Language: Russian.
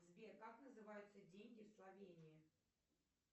сбер как называются деньги в словении